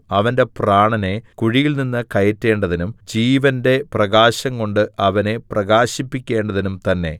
അവന്റെ പ്രാണനെ കുഴിയിൽനിന്ന് കയറ്റേണ്ടതിനും ജീവന്റെ പ്രകാശംകൊണ്ട് അവനെ പ്രകാശിപ്പിക്കേണ്ടതിനും തന്നെ